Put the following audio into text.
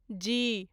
जी